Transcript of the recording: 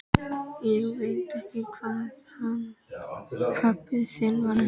Ég veit ekki hvað hann pabbi þinn var að hugsa!